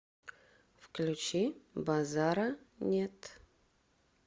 включи базара нет